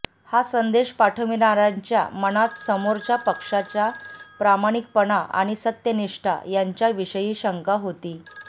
हा संदेश पाठवणार्यांच्या मनात समोरच्या पक्षाच्या प्रामाणिकपण आणि सत्यनिष्ठा यांच्याविषयी शंका होती